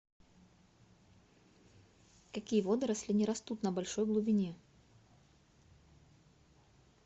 какие водоросли не растут на большой глубине